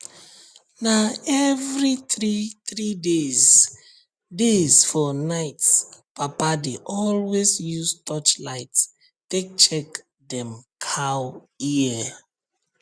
na every three three days days for nightpapa dey always use torchlight take check dem cow ear